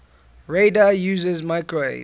radar uses microwave